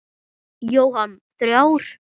Jóhann: Þrjár?